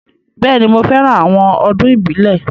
Bẹ́ẹ̀ni, mo fẹ́ran àwọn ọdún ìbílẹ̀